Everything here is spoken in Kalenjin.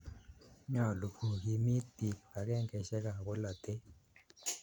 Nyalu ko kiimit piik kipakengeisyek ap polotet